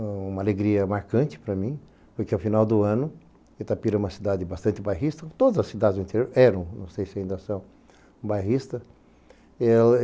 uma alegria marcante para mim, porque ao final do ano, Itapira é uma cidade bastante bairrista, todas as cidades do interior eram, não sei se ainda são, bairristas.